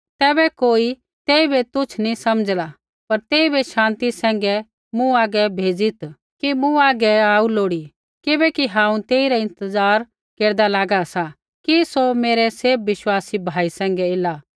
तैबै कोई तेइबै तुच्छ नी समझ़ला पर तेइबै शान्ति सैंघै मूँ हागै भेजीत् कि मूँ हागै आऊ लोड़ी किबैकि हांऊँ तेइरा इंतज़ार केरदा लागा सा कि सौ मेरै सैभ विश्वासी भाई सैंघै ऐला